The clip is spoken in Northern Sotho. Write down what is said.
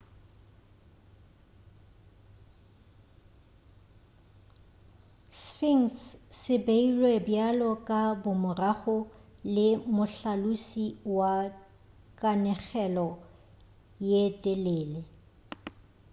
sphinx se beilwe bjalo ka bomorago le mohlalosi wa kanegelo ye telele